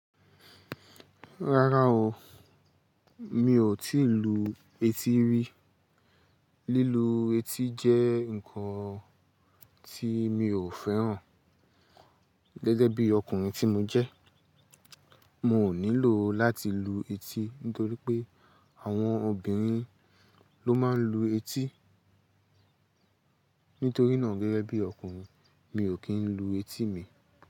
Rárá o, mi òtí lu etí rí. Lílu etí jẹ́ ǹkan tí mi ò fẹ́ràn gẹ́gẹ́ bí ọkùnrin tí mo jẹ́. Mo nílò láti lu etí nítorí pé àwọn obìnrin ló máa ń lu etí. Nítorí náà gẹ́gẹ́ bí ọkùnrin mi ò kí ń lu etí mi.